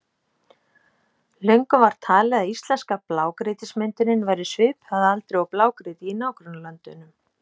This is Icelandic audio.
Löngum var talið að íslenska blágrýtismyndunin væri svipuð að aldri og blágrýtið í nágrannalöndunum.